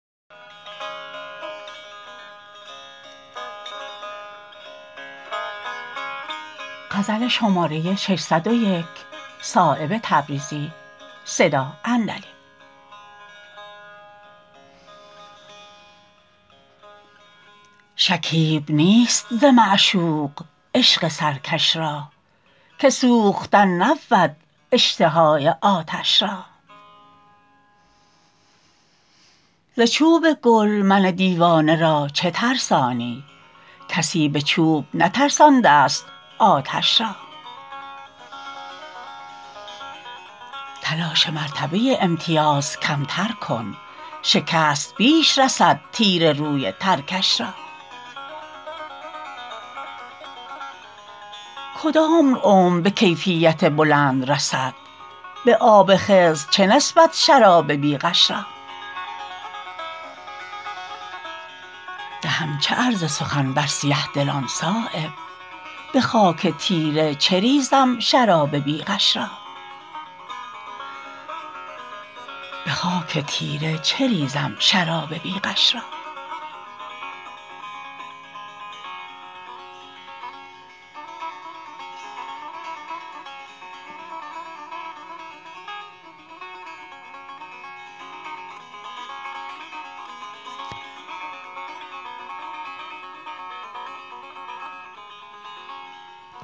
شکیب نیست ز معشوق عشق سرکش را که سوختن نبود اشتهای آتش را ز چوب گل من دیوانه را چه ترسانی کسی به چوب نترسانده است آتش را تلاش مرتبه امتیاز کمتر کن شکست بیش رسد تیر روی ترکش را کدام عمر به کیفیت بلند رسد به آب خضر چه نسبت شراب بی غش را دهم چه عرض سخن بر سیه دلان صایب به خاک تیره چه ریزم شراب بی غش را